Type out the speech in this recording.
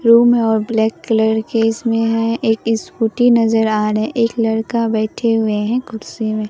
Room है और black colour के इसमें है एक स्कूटी नजर आ रहे है। एक लड़का बैठे हुए हैं कुर्सी में।